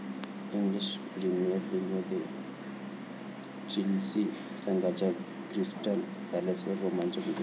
English premier लीगमध्ये Chelsea संघाचा Crystal पॅलेसवर रोमांचक विजय